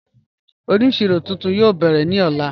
Ọnísíro tuntun yóò bẹ̀rẹ̀ ni ọ̀lá